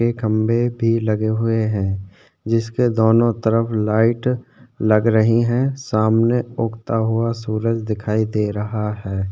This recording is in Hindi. ए खम्भे भी लगे हुए है जिसके दोनों तरफ लाइट लग रही है सामने उगता हुआ सूरज दिखाई दे रहा है।